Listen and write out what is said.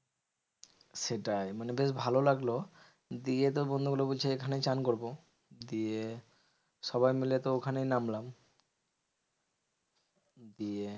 সেটাই মানে বেশ ভালো লাগলো, দিয়ে তো বন্ধুগুলো বলছে এখানেই চান করবো। দিয়ে সবাই মিলে তো ওখানেই নামলাম দিয়ে